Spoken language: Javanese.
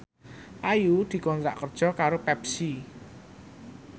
Ayu dikontrak kerja karo Pepsi